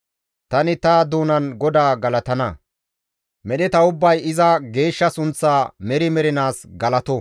Tani ta doonan GODAA galatana. Medheta ubbay iza geeshsha sunththa meri mernaas galato!